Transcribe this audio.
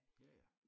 Ja ja